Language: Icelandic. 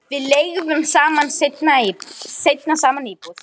Við leigðum seinna saman íbúð.